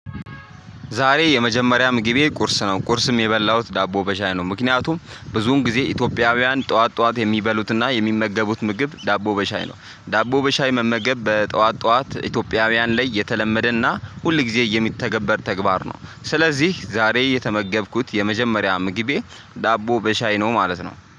ዛሬ የመጀመሪያም ግቤ ቁርስ ነው ቁርስም የበላሁት ዳቦ በሻይ ነው ምክንያቱም ብዙን ጊዜ ኢትዮጵያውያን ጠዋት ጠዋት የሚበሉትና የሚመገቡት ምግብ ዳቦ በሻይ ነው። ዳቦ በሻይ መመገብ በጠዋት ጠዋት ኢትዮጵያውያን ላይ የተለመደና ሁል ጊዜ የሚተገበር ተግባር ነው። ስለዚህ ዛሬ የተመገብኩት የመጀመሪያ ምግቤ ዳቦ በሻይ ነው ማለት ነው